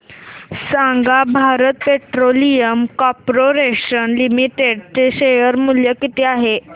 सांगा Bharat petroleum corporation limited चे share मूल्य किती आहे